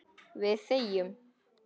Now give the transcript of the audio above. Við þegjum.